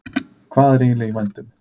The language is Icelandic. Hvað er eiginlega í vændum?